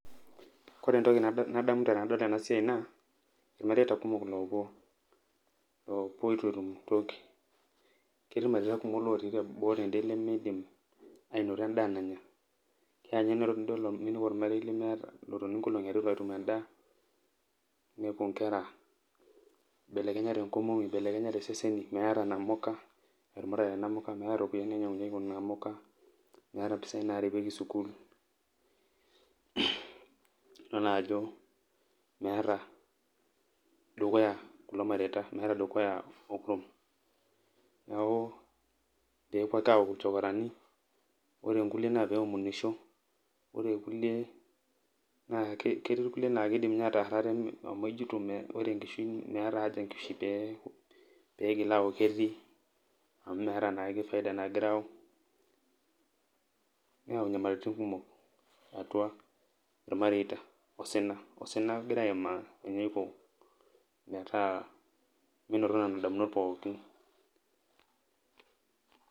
Kore entoki nadamu tenadol enasiai, naa irmareita kumok lopuo, lopuo itu etum toki. Ketii irmareita kumok lotii boo tede limiidim ainoto endaa nanya, keanye nidol ninepu ormarei lemeeta otoni nkolong'i are itu etum endaa, ninepu nkera ibelekenyate nkomomi, belekenyate iseseni, meeta namuka, etumutate namuka, meeta ropiyaiani nainyang'unyeki kunaamuka, meeta impisai narepeki sukuul, idol naajo meeta dukuya kulo mareita, meeta dukuya okurum. Neeku pepuo ake aaku ilchokorani, ore nkulie na peomonisho, ore irkulie naa, ketii irkulie na kidim inye ataar ate amu ejito ore enkishui meeta haja enkishui piko, pigil aaku ketii amu meeta naake faida [c] nagira aau, neau nyamalitin kumok eatua irmareita osina. Osina egira aimaa, enepuo metaa minoto nena damunot pookin.